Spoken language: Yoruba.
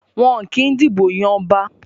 Wọn kì í dìbò yan ọba.